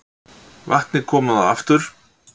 Vatn komið á aftur